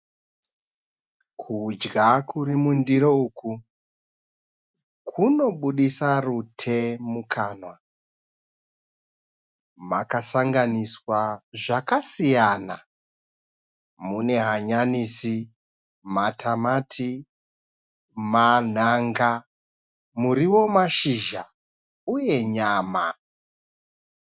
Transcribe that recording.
Kudya kurimundiro uku kunobudisa rute mukanwa. Makasanganiswa zvakasiyana, mune hanyanisi, matamati, manhanga, murivo womashizha uye nyama.